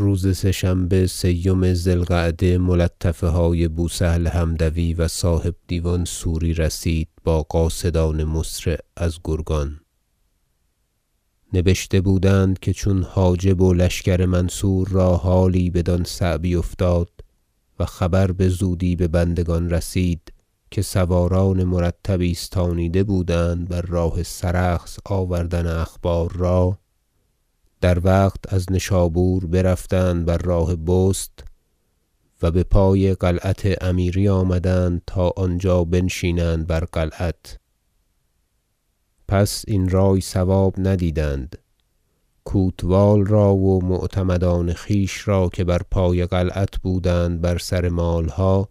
و روز سه شنبه سیم ذی القعده ملطفه های بوسهل حمدوی و صاحب دیوان سوری رسید با قاصدان مسرع از گرگان نبشته بودند که چون حاجب و لشکر منصور را حالی بدان صعبی افتاد و خبر بزودی به بندگان رسید که سواران مرتب ایستانیده بودند بر راه سرخس آوردن اخبار را در وقت از نشابور برفتند بر راه بست و بپای قلعت امیری آمدند تا آنجا بنشینند بر قلعت پس این رای صواب ندیدند کوتوال را و معتمدان خویش را که بر پای قلعت بودند بر سر مالها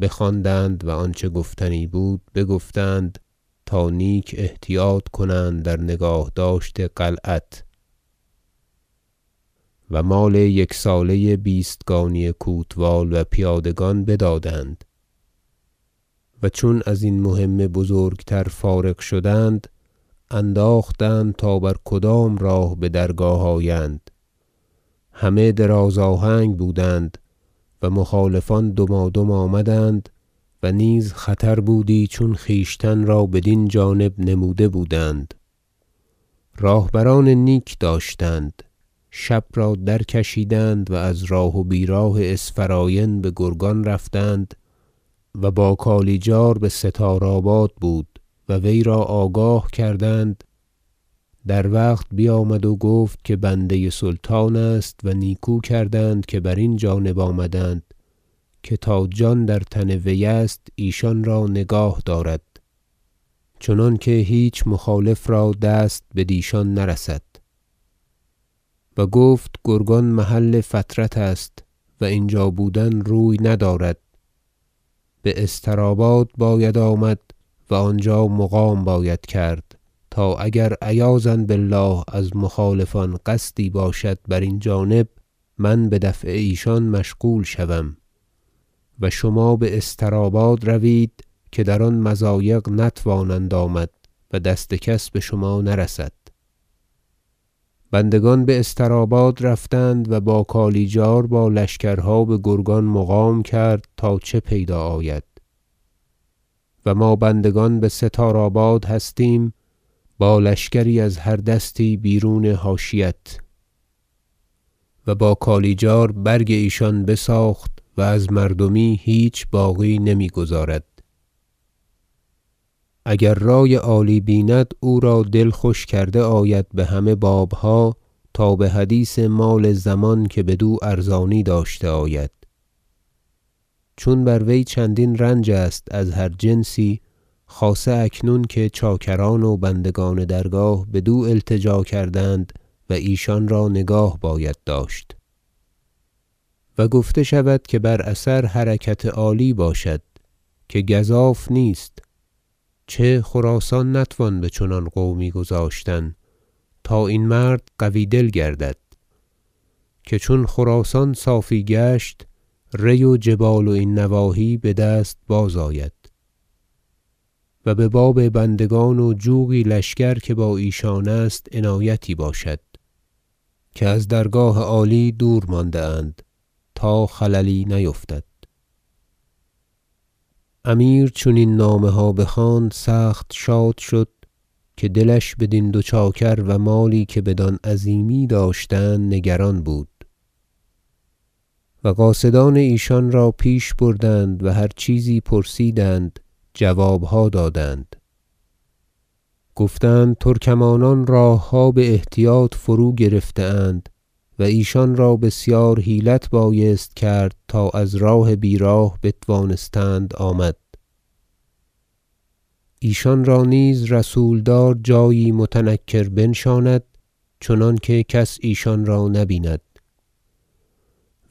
بخواندند و آنچه گفتنی بود بگفتند تا نیک احتیاط کنند در نگاه داشت قلعت و مال یکساله بیستگانی کوتوال و پیادگان بدادند و چون ازین مهم بزرگتر فارغ شدند انداختند تا بر کدام راه بدرگاه آیند همه دراز آهنگ بودند و مخالفان دمادم آمدند و نیز خطر بودی چون خویشتن را بدین جانب نموده بودند راهبران نیک داشتند شب را درکشیدند و از راه و بیراه اسفراین بگرگان رفتند و با کالیجار بستارآباد بود و وی را آگاه کردند در وقت بیامد و گفت که بنده سلطان است و نیکو کردند که برین جانب آمدند که تا جان در تن وی است ایشان را نگاه دارد چنانکه هیچ مخالف را دست بدیشان نرسد و گفت گرگان محل فترت است و اینجا بودن روی ندارد باستراباد باید آمد و آنجا مقام باید کرد تا اگر عیاذا بالله از مخالفان قصدی باشد برین جانب من بدفع ایشان مشغول شوم و شما باسترآباد روید که در آن مضایق نتوانند آمد و دست کس بشما نرسد بندگان باستراباد برفتند و با کالیجار با لشکرها بگرگان مقام کرد تا چه پیدا آید و ما بندگان بستاراباد هستیم با لشکری از هر دستی بیرون حاشیت و با کالیجار برگ ایشان بساخت و از مردمی هیچ باقی نمیگذارد اگر رای عالی بیند او را دل خوش کرده آید بهمه بابها تا بحدیث مال ضمان که بدو ارزانی داشته آید چون بر وی چندین رنج است از هر جنسی خاصه اکنون که چاکران و بندگان درگاه بدو التجا کردند و ایشان را نگاه باید داشت و گفته شود که بر اثر حرکت رکاب عالی باشد که گزاف نیست چه خراسان نتوان بچنان قومی گذاشتن تا این مرد قوی دل گردد که چون خراسان صافی گشت ری و جبال و این نواحی بدست بازآید و بباب بندگان و جوقی لشکر که با ایشان است عنایتی باشد که از درگاه عالی دور مانده اند تا خللی نیفتد امیر چون این نامه ها بخواند سخت شاد شد که دلش بدین دو چاکر و مالی که بدان عظیمی داشتند نگران بود و قاصدان ایشان را پیش بردند و هر چیزی پرسیدند جوابها دادند گفتند ترکمانان راهها باحتیاط فروگرفته اند و ایشان را بسیار حیلت بایست کرد تا از راه بیراه بتوانستند آمد ایشان را نیز رسولدار جایی متنکر بنشاند چنانکه کس ایشان را نه بیند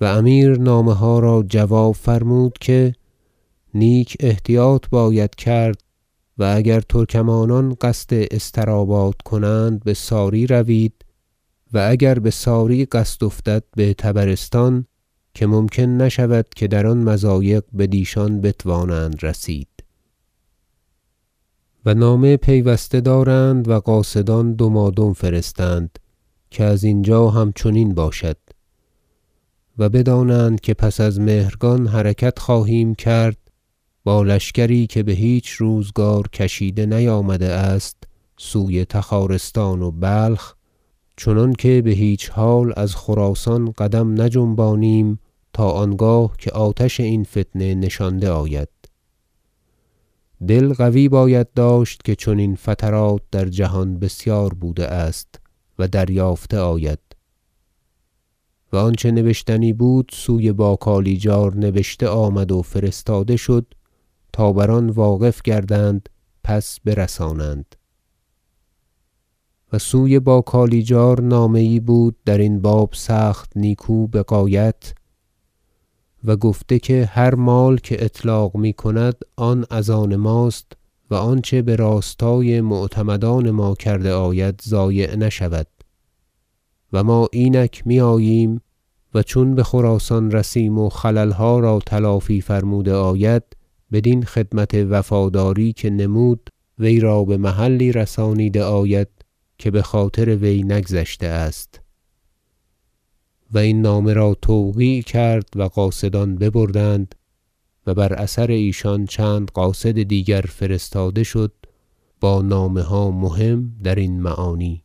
و امیر نامه ها را جواب فرمود که نیک احتیاط باید کرد و اگر ترکمانان قصد استراباد کنند بساری روید و اگر بساری قصد افتد بطبرستان که ممکن نشود که در آن مضایق بدیشان بتوانند رسید و نامه پیوسته دارند و قاصدان دمادم فرستند که از اینجا همچنین باشد و بدانند که پس از مهرگان حرکت خواهیم کرد با لشکری که بهیچ روزگار کشیده نیامده است سوی تخارستان و بلخ چنانکه بهیچ حال از خراسان قدم نجنبانیم تا آنگاه که آتش این فتنه نشانده آید دل قوی باید داشت که چنین فترات در جهان بسیار بوده است و دریافته آید و آنچه نبشتنی بود سوی با کالیجار نبشته آمد و فرستاده شد تا بر آن واقف گردند پس برسانند و سوی بالکالیجار نامه یی بود درین باب سخت نیکو بغایت و گفته که هر مال که اطلاق میکند آن از آن ماست و آنچه براستای معتمدان ما کرده آید ضایع نشود و ما اینک میآییم و چون بخراسان رسیم و خللها را تلافی فرموده آید بدین خدمت وفاداری که نمود وی را بمحلی رسانیده آید که بخاطر وی نگذشته است و این نامه را توقیع کرد و قاصدان ببردند و بر اثر ایشان چند قاصد دیگر فرستاده شد با نامه های مهم درین معانی